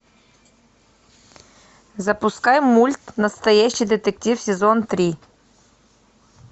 запускай мульт настоящий детектив сезон три